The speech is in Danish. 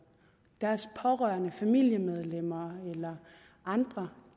deres pårørende familiemedlemmer eller andre